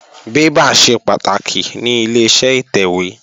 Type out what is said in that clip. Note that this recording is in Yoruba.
Bébà ṣe pàtàkì ní Ileṣẹ́ ìtẹ̀wé